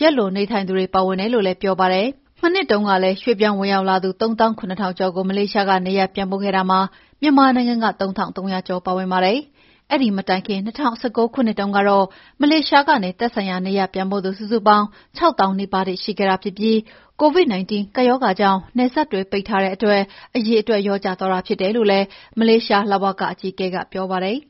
ရက်လွန်နေထိုင်သူတွေ ပါဝင်တယ်လို့ လည်းပြောပါတယ်။ မနှစ်တုန်းကလည်း ရွှေ့ပြောင်းဝင်ရောက်လာသူ ၃၇,၀၀၀ ကျော်ကို မလေးရှားကနေရပ်ပြန်ပို့ခဲ့တာမှာ မြန်မာနိုင်ငံက ၃,၃၀၀ ကျော်ပါဝင်ပါတယ်။ အဲဒီမတိုင်ခင် ၂၀၁၉ ခုနှစ်တုန်းကတော့ မလေးရှားကနေ သက်ဆိုင်ရာနေရပ်ပြန်ပို့သူ စုစုပေါင်း ၆၀,၀၀၀ နီးပါးရှိခဲ့တာဖြစ်ပြီး COVID-19 ကပ်ရောဂါကြောင့် နိုင်ငံနယ်စပ်တွေပိတ်ထားတဲ့အတွက် အရေအတွက်လျော့ကျသွားတာဖြစ်တယ်လို့လည်း မလေးရှား လ.ဝ.က အကြီးအကဲ Duad ကပြောပါတယ်။